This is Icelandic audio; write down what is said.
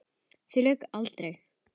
Því lauk aldrei.